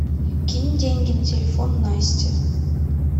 кинь деньги на телефон насте